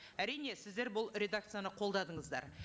әрине сіздер бұл редакцияны қолдадыңыздар